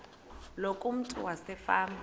loku umntu wasefama